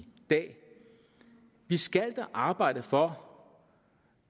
dag vi skal da arbejde for